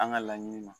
An ka laɲini na